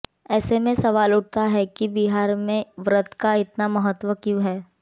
ऐसे में सवाल उठता है कि बिहार में इस व्रत का इतना महत्व क्यों है